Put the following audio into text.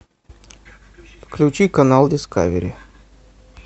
включи канал дискавери